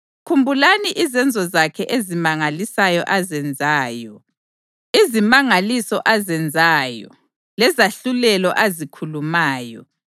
Khumbulani izenzo zakhe ezimangalisayo azenzayo, izimangaliso azenzayo, lezahlulelo azikhulumayo,